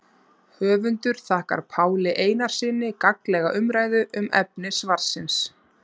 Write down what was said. Höfundur þakkar Páli Einarssyni gagnlega umræðu um efni svarsins.